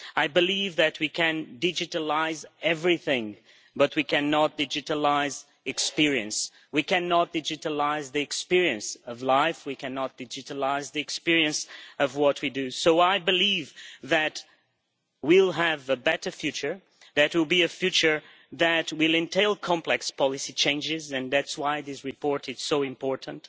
I believe that we can digitalise everything but we cannot digitalise experience, we cannot digitalise the experience of life, we cannot digitalise the experience of what we do. So I believe that we will have a better future, it will be a future that will entail complex policy changes, and that is why this report is so important.